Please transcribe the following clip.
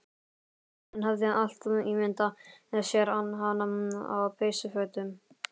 Hann hafði alltaf ímyndað sér hana á peysufötum